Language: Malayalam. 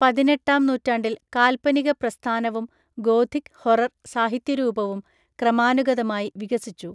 പതിനെട്ടാം നൂറ്റാണ്ടിൽ കാല്‍പനിക പ്രസ്ഥാനവും ഗോഥിക്‌ ഹൊറർ സാഹിത്യരൂപവും ക്രമാനുഗതമായി വികസിച്ചു.